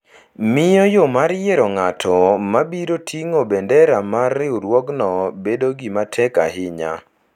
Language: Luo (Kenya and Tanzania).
miyo yo mar yiero ng’at ma biro ting’o bendera mar riwruogno bedo gima tek ahinya.